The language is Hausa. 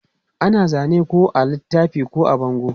Ana zane ko a littafi ko a bango.